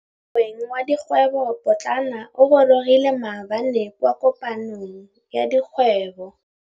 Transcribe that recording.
Moêng wa dikgwêbô pôtlana o gorogile maabane kwa kopanong ya dikgwêbô.